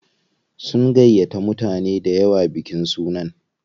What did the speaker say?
Sun gayyata mutane dayawa bikin sunan.